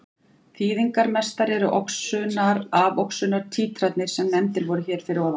Þýðingarmestar eru oxunar-afoxunar títranir sem nefndar voru hér fyrir ofan.